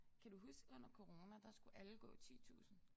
Kan du huske under corona der skulle alle gå 10000